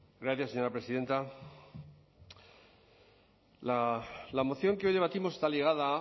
gracias señora presidenta la moción que hoy debatimos está ligada